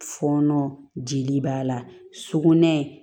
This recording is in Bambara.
Fɔɔnɔ jeli b'a la sugunɛ